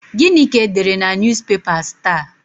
Gịnị ka e dere na Newspapers taa?